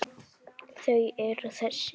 Þau eru þessi